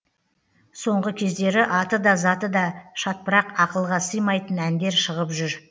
соңғы кездері аты да заты да шатпырақ ақылға сыймайтын әндер шығып жүр